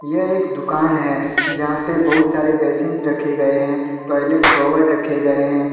यह एक दुकान है। जहाँ पे बहुत सारे बेसिन्स रखे गए है। टॉयलेट सोवर रखे गए है।